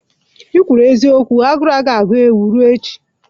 kwuru eziokwu, agụụ agaghị agụ ewu ruo echi.